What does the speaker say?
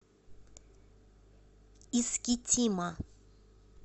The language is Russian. искитима